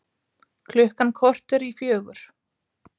Sigurgeira, hvernig er veðrið í dag?